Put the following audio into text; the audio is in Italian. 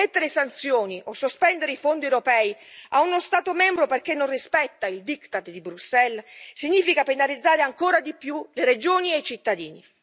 Mettere sanzioni o sospendere i fondi europei a uno Stato membro perché non rispetta il diktat di Bruxelles significa penalizzare ancora di più le regioni e i cittadini.